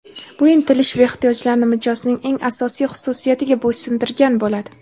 bu intilish va ehtiyojlarni mijozning eng asosiy xususiyatiga bo‘ysundirgan bo‘ladi.